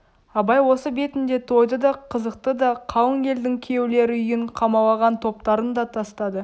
абай осы бетінде тойды да қызықты да қалың елдің күйеулері үйін қамалаған топтарын да тастады